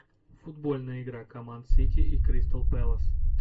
футбольная игра команд сити и кристал пэлас